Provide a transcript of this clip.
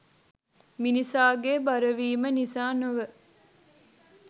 මිනිසාගේ බරවීම නිසා නොව